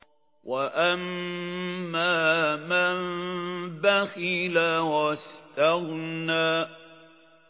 وَأَمَّا مَن بَخِلَ وَاسْتَغْنَىٰ